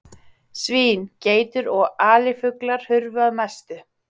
Svín, geitur og alifuglar hurfu að mestu.